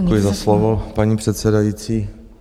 Děkuji za slovo, paní předsedající.